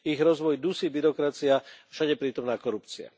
Ich rozvoj dusí byrokracia, všade prítomná korupcia.